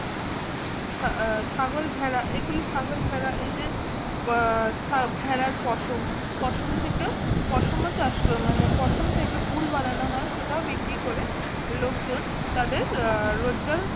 ছাগল ভেড়া এগুলো ছাগল ভেড়া এদের ভেড়ার পশম পশম থেকে পশম চাষ করবে মানে পশম থেকে উল বানানো হয় সেটাও বিক্রি করে লোকজন তাদের রোজগার